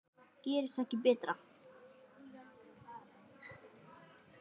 Gerist ekki betra.